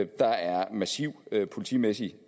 der er massiv politimæssig